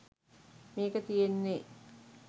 මේක තියෙන්නේ